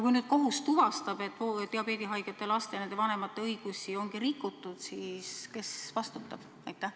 Kui nüüd kohus tuvastab, et diabeedihaigete laste ja nende vanemate õigusi ongi rikutud, siis kes vastutab?